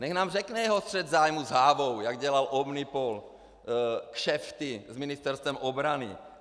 Nechť nám řekne jeho střet zájmů s Hávou, jak dělal Omnipol, kšefty s Ministerstvem obrany!